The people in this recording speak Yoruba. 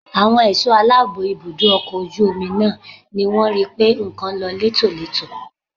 Àwọn ẹ̀ṣọ́ aláàbò ibùdó ọkọ̀ ojú omi náà ni wọ́n rí pé nǹkan lọ létòletò